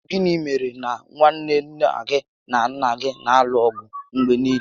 Ọ bụ gịnị mèrè na nwanne nna gị na nnà gị na alụ ọgụ mgbe niile?